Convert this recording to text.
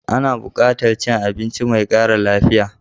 Ana buƙatar cin abinci mai ƙara lafiya.